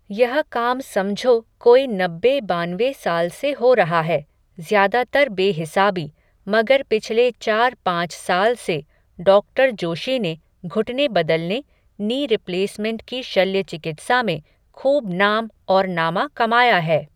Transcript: यह काम समझो कोई नब्बे बानवे साल से हो रहा है, ज़्यादातर बेहिसाबी, मगर पिछले चार पांच साल से, डॉक्टर जोशी ने, घुटने बदलने, नी रिप्लेसमेंट की शल्य चिकित्सा में, खूब नाम और नामा कमाया है